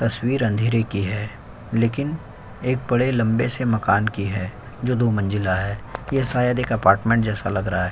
तस्वीर अंधेरे की है लेकिन एक बड़े लंबे से मकान की है जो दो मंजिला है। यह शायद एक अपार्टमेंट जैसा लग रहा है।